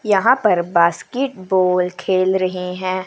यहां पर बास्केटबॉल खेल रहे हैं।